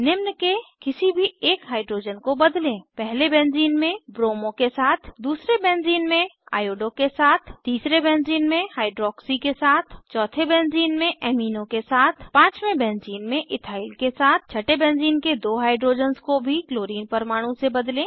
निम्न के किसी भी एक हाइड्रोजन को बदलें पहले बेंज़ीन में ब्रोमो के साथ दूसरे बेंज़ीन में आईओडीओ के साथ तीसरे बेंज़ीन में हाइड्रॉक्सी के साथ चौथे बेंज़ीन में एमीनो के साथ पाँचवें बेंज़ीन इथाइल के साथ छटे बेंज़ीन के दो हाइड्रोजन्स को भी क्लोरीन परमाणु से बदलें